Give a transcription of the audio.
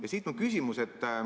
Ja siit mu küsimus.